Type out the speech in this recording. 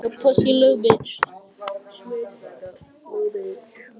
Ráðuneytið átti eftir að stórskaða möguleika á arðvænlegu fiskeldi.